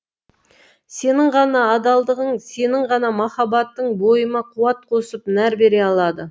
сенің ғана адалдығың сенің ғана махаббатың бойыма қуат қосып нәр бере алады